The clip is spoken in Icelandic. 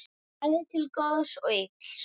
Bæði til góðs og ills.